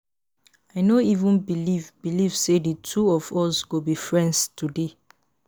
I no even believe believe say the two of us go be friends today